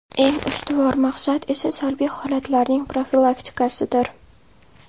Eng ustuvor maqsad esa salbiy holatlarning profilaktikasidir.